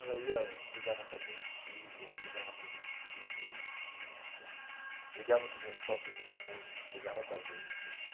Ela ia brigava com as minhas tias, brigava com os meus tios né então, brigava com os meus próprios irmãos, brigava com a gente.